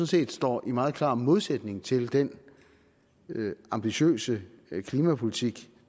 set står i meget klar modsætning til den ambitiøse klimapolitik